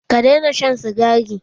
Ka daina shan sigari!